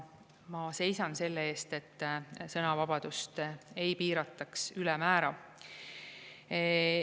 Ma seisan selle eest, et sõnavabadust ei piirataks ülemäära.